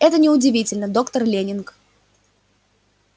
это не удивительно доктор лэннинг